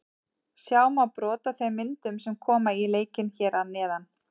Sjá má brot af þeim myndum sem koma í leikinn hér að neðan.